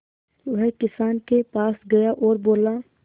वह किसान के पास गया और बोला